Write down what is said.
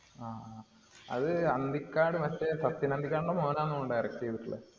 ആഹ് അത് അന്തിക്കാട്‌ മറ്റേ സത്യന്‍ അന്തിക്കാടിന്‍റെ മോനാണെന്ന് തോന്നുന്നു direct ചെയ്തിട്ടുള്ളത്.